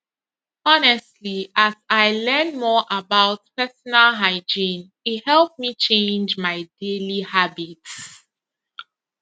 honestly as i learn more about personal hygiene e help me change my daily habits